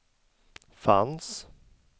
fanns